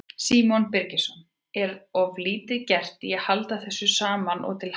Símon Birgisson: Er of lítið gert í að halda þessu saman og til haga?